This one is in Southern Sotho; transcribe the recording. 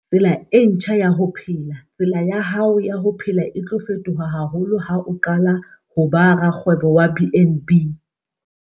Tsela e ntjha ya ho phela - Tsela ya hao ya ho phela e tlo fetoha haholo ha o qala ho ba rakgwebo wa BnB.